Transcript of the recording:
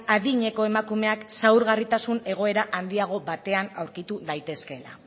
adineko emakumean zaurgarritasun egoera handiago batean aurkitu daitezkeela